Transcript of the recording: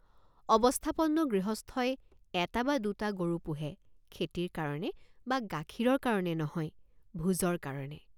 অৱস্থাপন্ন গৃহস্থই এটা বা দুটা গৰু পোহে খেতিৰ কাৰণে বা গাখীৰৰ কাৰণে নহয় ভোজৰ কাৰণে।